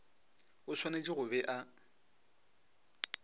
o swanetše go be a